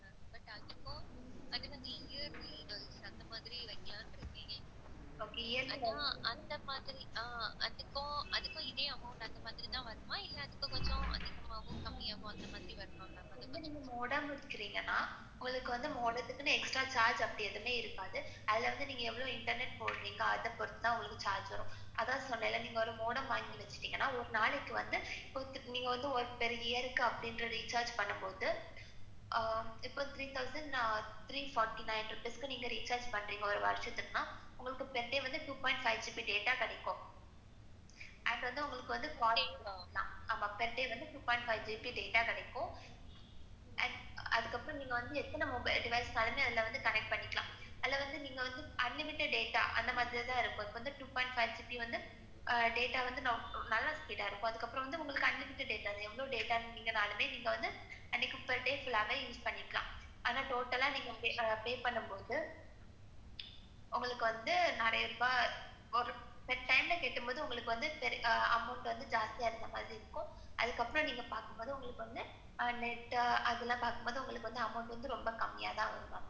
உங்களுக்கு வந்து நாலாயிர ரூபாய் ஒரே time காட்டும் போது உங்களுக்கு amount ஜாஸ்தியா இருக்கறா மாதிரி இருக்கும். அதுக்கப்புறம் நீங்க பார்க்கும் போது net அதெல்லாம் பார்க்கும் போது உங்களுக்கு amount ரொம்ப கம்மி தான் இருக்கும்.